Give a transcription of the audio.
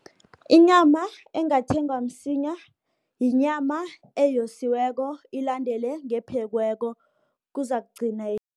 Inyama engathengwa msinya yinyama eyosiweko, ilandele ngephekiweko kuzakuqina